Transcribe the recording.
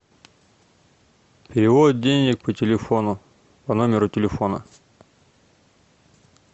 перевод денег по телефону по номеру телефона